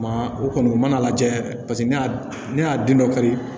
Maa o kɔni u mana lajɛ ne y'a ne y'a den dɔ kari